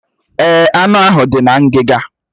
Èè, anụ ahụ dị na ngiga.